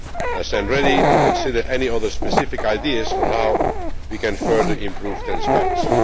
I am ready to consider any other specific ideas on how we can further improve transparency.